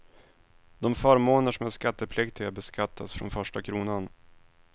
De förmåner som är skattepliktiga beskattas från första kronan.